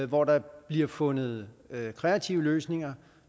hvor der bliver fundet kreative løsninger